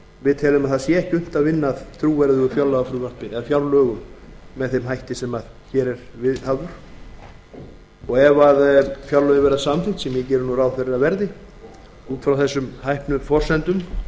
við teljum að það sé ekki unnt að vinna að trúverðugu fjárlagafrumvarpi eða fjárlögum með þeim hætti sem hér er viðhafður ef fjárlögin verða samþykkt sem ég geri nú ráð fyrir að verði út frá þessum hæpnu forsendum sem